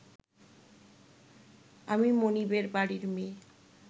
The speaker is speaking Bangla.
আমি মনিবের বাড়ির মেয়ে